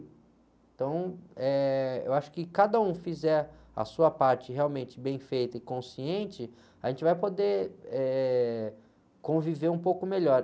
Então, eh, eu acho que se cada um fizer a sua parte realmente bem feita e consciente, a gente vai poder, eh. conviver um pouco melhor.